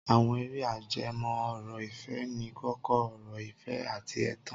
Àwọn eré ajẹmọ́ ọ̀rọ̀ ìfẹ́ ní kókó ọ̀rọ̀ ìfẹ́ àti ẹ̀tàn.